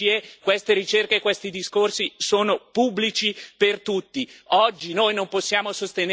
Oggi noi non possiamo sostenere questo sistema dentro all'Europa, dentro a queste regole si muore.